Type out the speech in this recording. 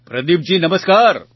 પ્રદીપજી નમસ્કાર